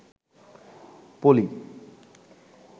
পলি